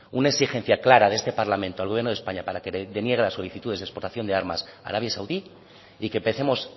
una exigencia clara de este parlamento al gobierno de españa para que deniegue las solicitudes de exportación de armas a arabia saudí y que empecemos